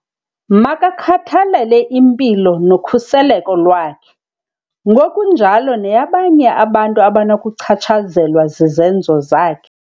Makakhathalele impilo nokhuseleko lwakhe, ngokunjalo neyabanye abantu abanokuchatshazelwa zizenzo zakhe.